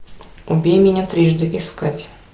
убей меня трижды искать